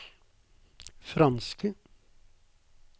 franske